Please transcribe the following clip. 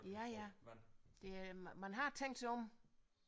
Ja ja det er man har tænkt sig om